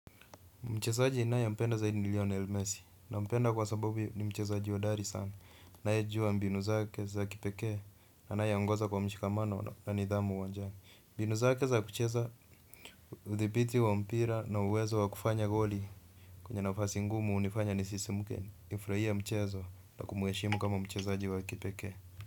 Mchezaji nae mpenda zaidi ni Lionel Messi. Nampenda kwa sababu ni mchezaji hodari sana anae juwa mbinu zake za kipekee na anae angoza kwa mshikamano na nidhamu uwanjani. Mbinu zake za kucheza udhibiti wa mpira na uwezo wa kufanya goli kwenye nafasi ngumu hunifanya nisisimuke nifurahie mchezo na kumuheshimu kama mchezaji wa kipekee.